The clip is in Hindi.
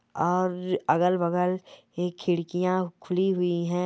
और अगल-बगल खिड़कियां खुली हुई है।